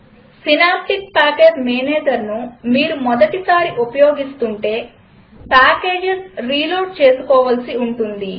synaptic package managerను మీరు మొదటిసారి ఉపయోగిస్తుంటే పాకేజస్ రీలోడ్ చేసుకోవలసి ఉంటుంది